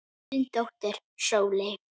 Þín dóttir Sóley.